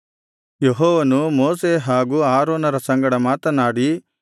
ಯೆಹೋವನು ಮೋಶೆ ಹಾಗೂ ಆರೋನರ ಸಂಗಡ ಮಾತನಾಡಿ